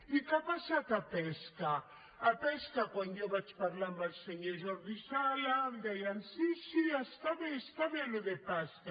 i què ha passat a pesca a pesca quan jo vaig parlar amb el senyor jordi sala em deia sí sí està bé està bé això de pesca